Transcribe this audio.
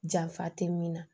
Janfa tɛ min na